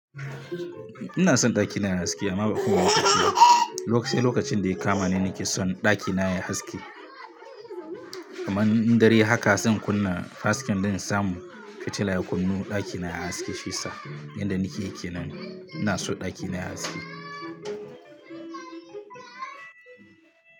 Ina son ɗakina yayi haske amma bakowani lokaci ba. Sai lokacin da ya kama ne nake son ɗakina yayi haske. Kaman dare haka zan kunna hasken don in samu fitila ya kunnu ɗakina yayi haske shiyasa yadda nike yi kenan ina so ɗakina yayi haske.